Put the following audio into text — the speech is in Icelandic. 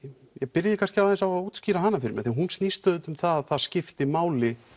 byrjiði kannski aðeins á því að útskýra hana fyrir mér hún snýst auðvitað um það að það skipti máli